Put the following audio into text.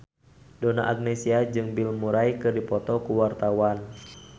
Donna Agnesia jeung Bill Murray keur dipoto ku wartawan